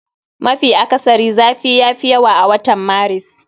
Mafi akasari zafi yafi yawa a watan Maris